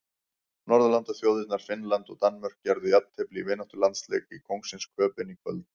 Norðurlandaþjóðirnar Finnland og Danmörk gerðu jafntefli í vináttulandsleik í Kóngsins Köben í kvöld.